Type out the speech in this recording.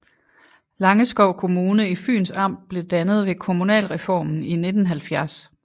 Langeskov Kommune i Fyns Amt blev dannet ved kommunalreformen i 1970